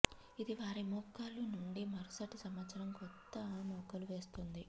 ఇది వారి మొగ్గలు నుండి మరుసటి సంవత్సరం కొత్త మొగ్గలు వెళ్తుంది